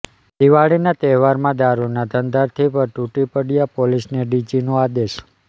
દિવાળીના તહેવારોમાં દારૂ ના ધંધાર્થી પર તુટી પડવા પોલીસને ડીજીનો આદેશ